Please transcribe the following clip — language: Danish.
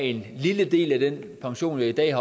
en lille del af den pension jeg i dag